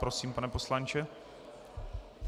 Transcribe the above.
Prosím, pane poslanče.